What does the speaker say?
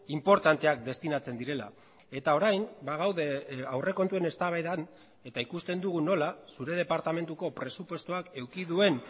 inportanteak destinatzen direla eta orain bagaude aurrekontuen eztabaidan eta ikusten dugu nola zure departamentuko presupuestoak eduki duen